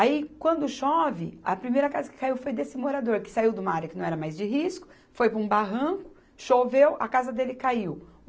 Aí, quando chove, a primeira casa que caiu foi desse morador, que saiu de uma área que não era mais de risco, foi para um barranco, choveu, a casa dele caiu.